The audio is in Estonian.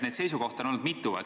Neid sisukohti on olnud mitu.